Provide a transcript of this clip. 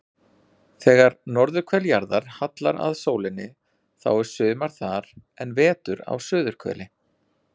Þegar norðurhvel jarðar hallar að sólinni þá er sumar þar en vetur á suðurhveli.